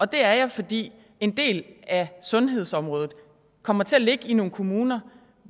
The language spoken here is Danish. det er jeg fordi en del af sundhedsområdet kommer til at ligge i nogle kommuner